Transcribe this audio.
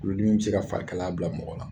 Kulodimi bi se ka fari kalaya bila mɔgɔ la